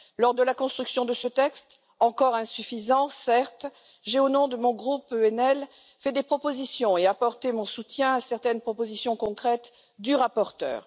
Lors de l'élaboration de ce texte, encore insuffisant, certes, j'ai, au nom de mon groupe ENL, fait des propositions et apporté mon soutien à certaines propositions concrètes du rapporteur.